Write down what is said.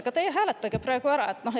"Aga teie hääletage praegu ära!